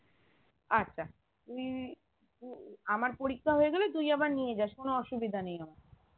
আচ্ছা তুই উম আমার পরীক্ষা হয়ে গেলে তুই আবার নিয়ে যাস কোনো অসুবিধা নেই আমার